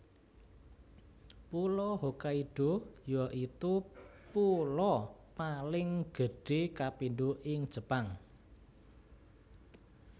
Pulo Hokkaido yaitu pulo paling gedhé kapindho ing Jepang